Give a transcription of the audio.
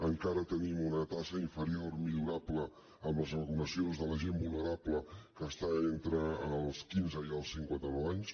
encara tenim una taxa inferior millorable amb les regulacions de la gent vulnerable que està entre els quinze i els cinquantanou anys